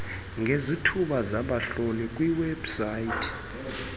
ngezithuba zabahlohli kwiwebsite